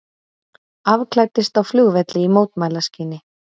Afklæddist á flugvelli í mótmælaskyni